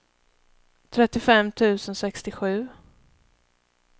trettiofem tusen sextiosju